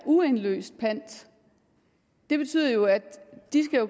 uindløste pant det betyder jo at de